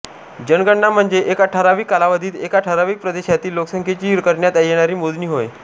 जनगणना म्हणजे एका ठरावीक कालावधीत एका ठरावीक प्रदेशातील लोकसंख्येची करण्यात येणारी मोजणी होय